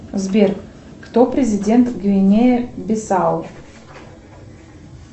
сбер кто президент гвинея бисау